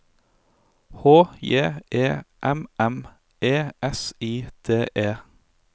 H J E M M E S I D E